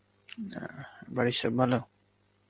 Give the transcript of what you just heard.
বাড়ির সব ভালো?